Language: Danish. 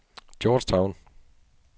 Georgetown